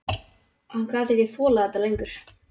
Hann gat ekki þolað þetta lengur.